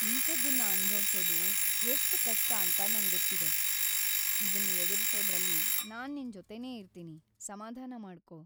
ಇಂಥದ್ದನ್ನ ಅನುಭವ್ಸೋದು ಎಷ್ಟ್ ಕಷ್ಟ ಅಂತ ನಂಗೊತ್ತಿದೆ! ಇದನ್‌ ಎದುರಿಸೋದ್ರಲ್ಲಿ ನಾನ್‌ ನಿನ್‌ ಜೊತೆನೇ ಇರ್ತೀನಿ, ಸಮಾಧಾನ ಮಾಡ್ಕೋ.